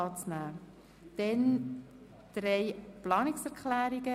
Im AFP 2020–2022 ist zusätzlicher Handlungsspielraum für